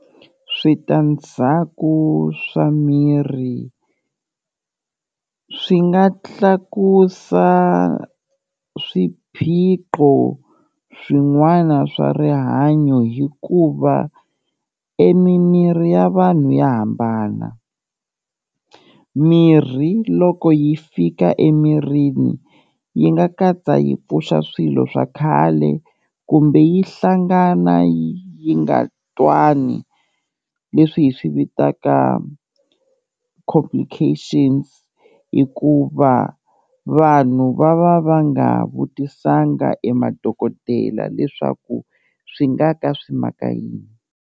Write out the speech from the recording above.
Switandzhaku swa miri swi nga tlakusa swiphiqo swin'wana swa rihanyo hikuva e mimiri ya vanhu ya hambana, mirhi loko yi fika emirini yi nga katsa yi pfuxa swilo swa khale kumbe yi hlangana yi nga twani leswi hi swi vitaka complications, hikuva vanhu va va va nga vutisanga e madokodela leswaku swi nga ka swi maka yini.